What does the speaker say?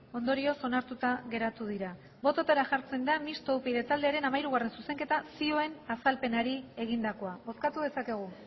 ondorioz onartuta geratu dira bototara jartzen da mistoa upyd taldearen hamairugarrena zuzenketa zioen azalpenari egindakoa bozkatu dezakegu